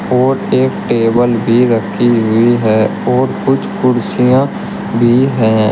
और एक टेबल भी रखी हुई है और कुछ कुर्सियां भी हैं।